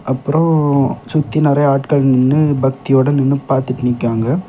அப்புறம் ம் சுத்தி நிறைய ஆட்கள் நின்னு பக்தியுடன் இன்னும் பார்த்துட்டு நிக்காங்க.